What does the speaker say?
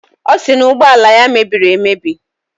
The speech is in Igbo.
Ọ sị na ụgbọala ya mebiri emebi